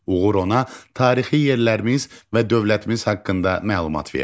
Uğur ona tarixi yerlərimiz və dövlətimiz haqqında məlumat verdi.